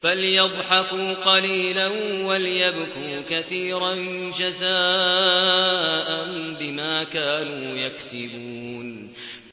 فَلْيَضْحَكُوا قَلِيلًا وَلْيَبْكُوا كَثِيرًا جَزَاءً بِمَا كَانُوا يَكْسِبُونَ